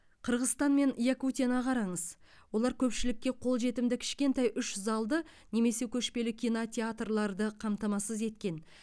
қырғызстан мен якутияны қараңыз олар көпшілікке қолжетімді кішкентай үш залды немесе көшпелі кинотеатрларды қамтамасыз еткен